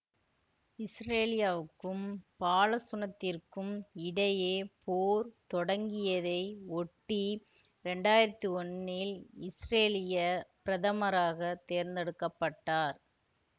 இசுரேலியாவுக்கும் பாலசுனத்திற்கும் இடையே போர் தொடங்கியதை ஒட்டி இரண்டாயிரத்தி ஒன்னில் இசுரேலியப் பிரதமராகத் தேர்ந்தெடுக்க பட்டார்